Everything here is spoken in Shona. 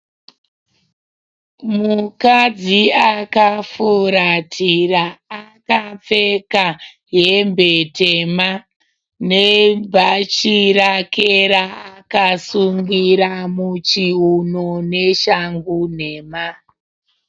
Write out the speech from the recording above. Mukadzi akafuratira. Akapfeka hembe tema nebhachi rake raakasungira muchiuno neshangu nhema.